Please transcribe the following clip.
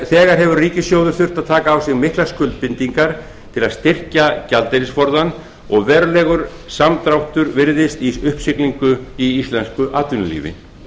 þegar hefur ríkissjóður þurft að taka á sig miklar skuldbindingar til að styrkja gjaldeyrisforðann og verulegur samdráttur virðist í uppsiglingu í íslensku atvinnulífi